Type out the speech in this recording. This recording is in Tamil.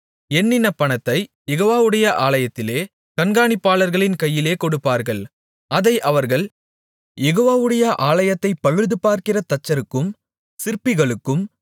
எண்ணின பணத்தைக் யெகோவாவுடைய ஆலயத்திலே கண்காணிப்பாளர்களின் கையிலே கொடுப்பார்கள் அதை அவர்கள் யெகோவாவுடைய ஆலயத்தைப் பழுதுபார்க்கிற தச்சருக்கும் சிற்பிகளுக்கும்